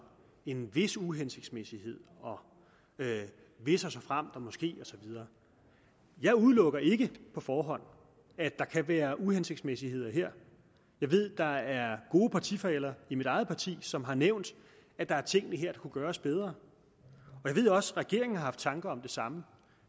en vis uhensigtsmæssighed og hvis såfremt måske og så videre jeg udelukker ikke på forhånd at der kan være uhensigtsmæssigheder her jeg ved at der er gode partifæller i mit eget parti som har nævnt at der er ting i det her der kunne gøres bedre jeg ved også at regeringen har haft tanker om det samme